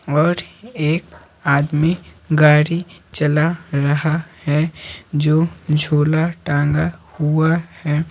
और एक आदमी गाड़ीचलारहा है जो झोलाटांगाहुआहै।